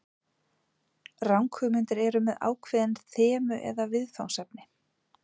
Ranghugmyndir eru með ákveðin þemu eða viðfangsefni.